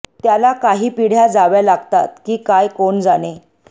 त्याला काही पिढ्या जाव्या लागतात की काय कोण जाणे